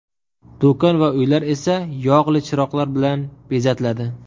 Do‘kon va uylar esa yog‘li chiroqlar bilan bezatiladi.